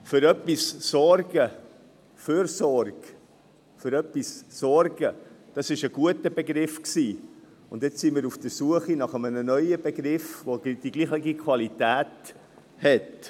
Für etwas sorgen – Fürsorge: Das war ein guter Begriff, und jetzt sind wir auf der Suche nach einem neuen Begriff, der die gleiche Qualität hat.